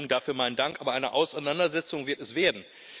Dafür mein Dank aber eine Auseinandersetzung wird es werden.